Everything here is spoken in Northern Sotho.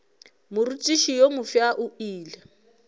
morutiši yo mofsa o ile